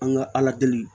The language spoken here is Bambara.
An ka ala deli